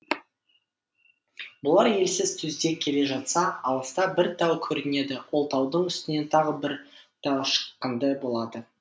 бұлар елсіз түзде келе жатса алыста бір тау көрінеді ол таудың үстіне тағы бір тау шыққандай болады